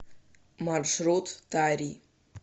маршрут тари